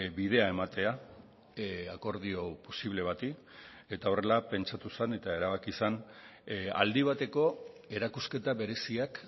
bidea ematea akordio posible bati eta horrela pentsatu zen eta erabaki zen aldi bateko erakusketa bereziak